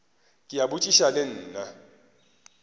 ke a botšiša le nna